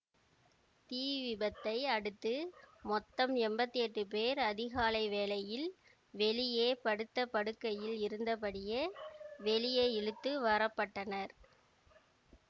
தீ விபத்தை அடுத்து மொத்தம் எம்பத்தி எட்டு பேர் அதிகாலை வேளையில் வெளியே படுத்த படுக்கைகளில் இருந்த படியே வெளியே இழுத்து வரப்பட்டனர்